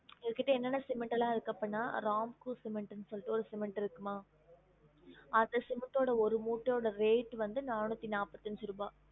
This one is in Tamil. எங்ககிட்ட என்னென்ன cement எல்லாம் இருக்கு அப்டின்னா ramco cement னு சொல்லிட்டு ஒரு cement இருக்குமா அந்த cement ஓட ஒரு மூட்டையோட rate வந்து நானுத்தி நாப்பத்தி அஞ்சு ருபா